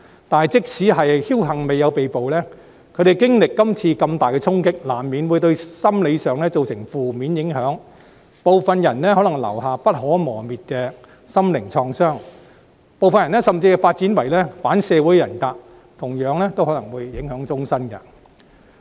但是，即使僥幸未有被捕，他們在經歷今次如此大的衝擊後，難免會對心理造成負面影響，部分人可能留下不可磨滅的心靈創傷，有些甚至會發展為反社會人格，同樣都可能影響終身。